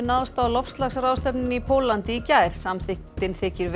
náðist á loftslagsráðstefnunni í Póllandi í gær þykir